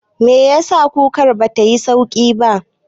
Meyasa kukar batayi yauƙi ba?